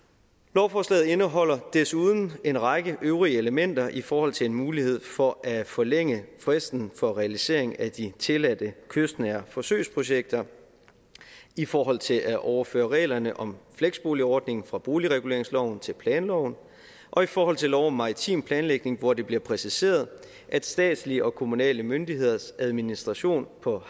lovforslaget indeholder desuden en række øvrige elementer i forhold til en mulighed for at forlænge fristen for realisering af de tilladte kystnære forsøgsprojekter i forhold til at overføre reglerne om fleksboligordning fra boligreguleringsloven til planloven og i forhold til lov om maritim planlægning hvor det bliver præciseret at statslige og kommunale myndigheders administration på